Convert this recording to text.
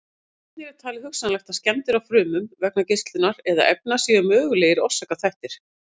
Einnig er talið hugsanlegt að skemmdir á frumum vegna geislunar eða efna séu mögulegir orsakaþættir.